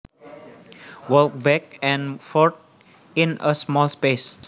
Walk back and forth in a small space